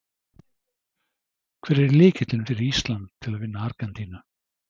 Hver er lykillinn fyrir Ísland til að vinna Argentínu?